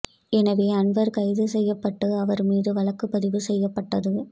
எனவே அன்வர் கைது செய்யப்பட்டு அவர் மீது வழக்குப்பதிவு செய்யப்பட்டது